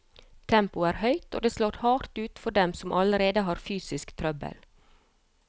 Tempoet er høyt, og det slår hardt ut for dem som allerede har fysisk trøbbel.